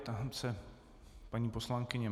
Ptám se paní poslankyně.